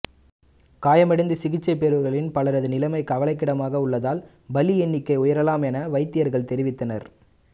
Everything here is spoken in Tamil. காயமடைந்து சிகிச்சை பெறுபவர்களில் பலரது நிலைமை கவலைக்கிடமாக உள்ளதால் பலி எண்ணிக்கை உயரலாம் என வைத்தியர்கள் தெரிவித்தனர்